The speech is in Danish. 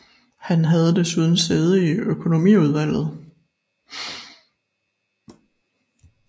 Han havde desuden sæde i økonomiudvalget